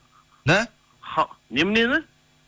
да неменені